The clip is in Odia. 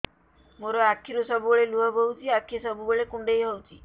ମୋର ଆଖିରୁ ସବୁବେଳେ ଲୁହ ବୋହୁଛି ଆଖି ସବୁବେଳେ କୁଣ୍ଡେଇ ହଉଚି